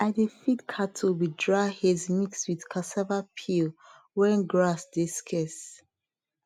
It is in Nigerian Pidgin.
i dey feed cattle with dry hays mix with cassava peel when grass dey scarce